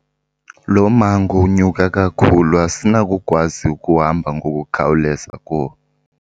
Lo mmango unyuka kakhulu asinakukwazi ukuhamba ngokukhawuleza kuwo.